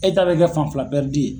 E ta bɛ kɛ fan fila ye.